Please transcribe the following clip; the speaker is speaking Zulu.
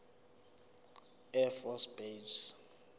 air force base